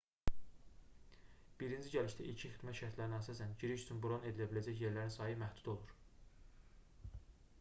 birinci gəlişdə ilkin xidmət şərtlərinə əsasən giriş üçün bron edilə biləcək yerlərin sayı məhdud olur